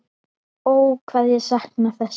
Ó hvað ég sakna þess.